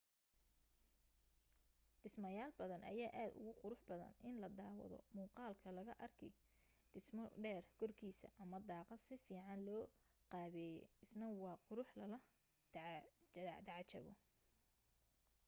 dhismayaal badan ayaa aad ugu qurux badan in la daawado muuqaalka laga arki dhismo dheer korkiisa ama daaqad si fiican loo qaabeeyay isna waa qurux lala tacajabo